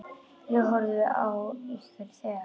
Ég horfði á ykkur þegar.